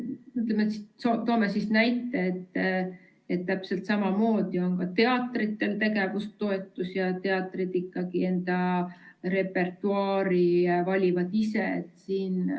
Toome näite: täpselt samamoodi on ka teatritel tegevustoetus ja teatrid oma repertuaari valivad ikkagi ise.